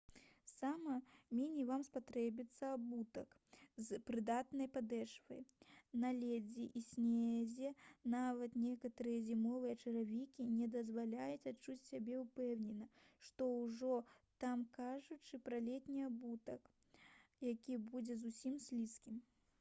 сама меней вам спатрэбіцца абутак з прыдатнай падэшвай на лёдзе і снезе нават некаторыя зімовыя чаравікі не дазваляюць адчуваць сябе ўпэўнена што ўжо там казаць пра летні абутак які будзе зусім слізкім